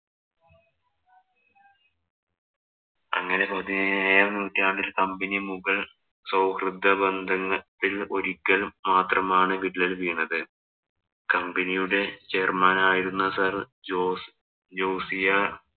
അങ്ങനെ പതിനേഴാം, നൂറ്റാണ്ടില്‍ company മുഗള്‍ സൗഹൃദ ബന്ധങ്ങള്‍ ക്ക് ഒരിക്കല്‍ മാത്രമാണ് വിള്ളല്‍ വീണത്. Company യുടെ chairman ആയിരുന്ന sir ജോസ്